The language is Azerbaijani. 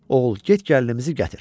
Oğul, get gəlinimizi gətir.